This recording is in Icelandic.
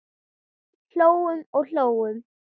Hlógum og hlógum.